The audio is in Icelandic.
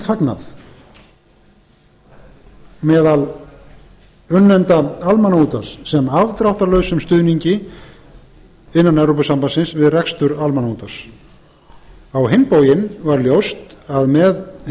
fagnað meðal unnenda almannaútvarps sem afdráttarlausum stuðningi innan evrópusambandsins við rekstur almannaútvarps á hinn bóginn var ljóst að með hinni